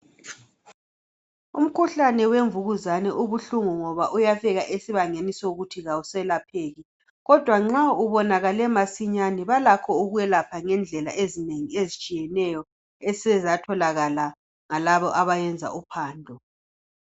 Umkhuhlane wemvukuzane ubuhlungu ngoba uyafika esibangeni sokuthi awuselapheki, kodwa nxa ubonakelale masinyane balakho ukwelapha ngendlela ezinengi ezitshiyeneyo esezatholakala ngalabo abenza uphando.